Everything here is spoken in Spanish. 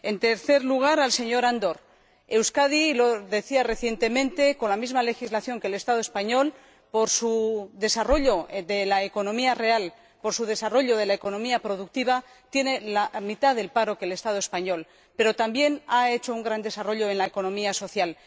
En tercer lugar, una pregunta al señor Andor decía yo recientemente que Euskadi, con la misma legislación que el Estado español, por su desarrollo de la economía real, por su desarrollo de la economía productiva, tiene la mitad de paro que el Estado español, pero también ha logrado un gran desarrollo en la economía social.